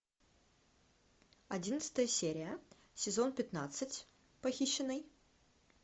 одиннадцатая серия сезон пятнадцать похищенный